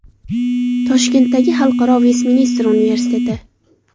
Toshkentdagi Xalqaro Vestminster universiteti.